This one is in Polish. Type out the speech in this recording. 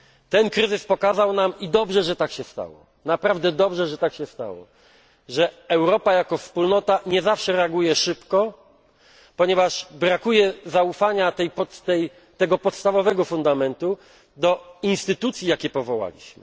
Ten kryzys pokazał nam i naprawdę dobrze, że tak się stało że Europa jako wspólnota nie zawsze reaguje szybko, ponieważ brakuje zaufania tego podstawowego fundamentu do instytucji, jakie powołaliśmy.